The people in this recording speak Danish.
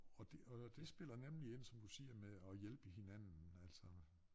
Og det og det spiller nemlig ind som du siger med at hjælpe hinanden altså